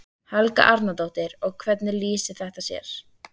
Helga Arnardóttir: Og hvernig lýsir þetta sér?